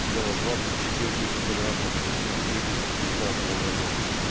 сделано двадцать четыре тысячи квадратов в две тысячи девятнадцатом году